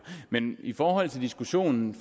men i forhold til diskussionen